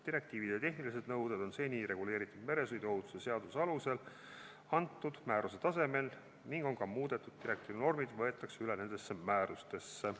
Direktiivid ja tehnilised nõuded on seni reguleeritud meresõiduohutuse seaduse alusel antud määruse tasemel ning ka muudetud direktiivinormid võetakse üle nendesse määrustesse.